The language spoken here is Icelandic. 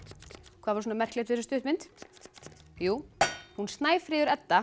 hvað var svona merkilegt við stuttmynd jú hún Snæfríður Edda